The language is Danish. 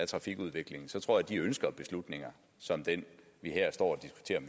trafikudviklingen så tror jeg at de ønsker beslutninger som den vi her står